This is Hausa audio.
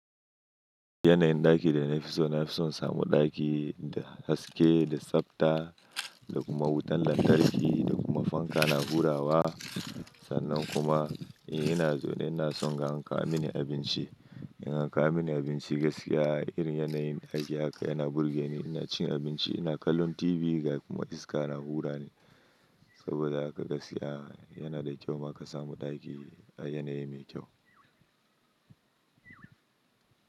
Yanayin ɗaki da na fi so na fi son in samu ɗaki da haske, da tsafta, da kuma wutan lantarki, da kuma fanka na hurawa. Sannan kuma, eh ina zau ne ina son in ga an kawo mini abinci. In an ka wo mini abinci gaskiya irin yanayin aiki haka yana burge ni. Ina cin abinci, ina kallon TV ga kuma iska na hura ni. Saboda haka gaskiya yana da kyau ma ka samu ɗaki a yanayi mai kyau.